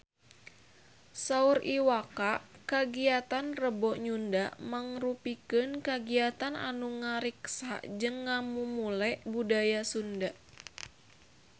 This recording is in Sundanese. Saur Iwa K kagiatan Rebo Nyunda mangrupikeun kagiatan anu ngariksa jeung ngamumule budaya Sunda